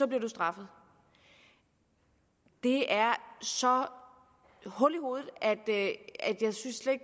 bliver du straffet det er så hul i hovedet